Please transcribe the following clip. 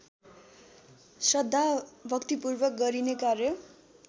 श्रद्धाभक्‍तिपूर्वक गरिने कार्य